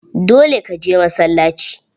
Dole ka je masallaci!